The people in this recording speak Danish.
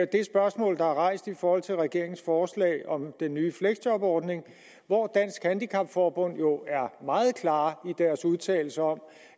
det spørgsmål der er rejst i forhold til regeringens forslag om den nye fleksjobordning hvor dansk handicapforbund jo er meget klare i deres udtalelser om